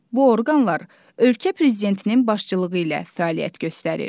Bu orqanlar ölkə prezidentinin başçılığı ilə fəaliyyət göstərir.